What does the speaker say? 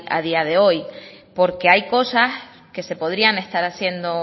a día de hoy porque hay cosas que se podrían estar haciendo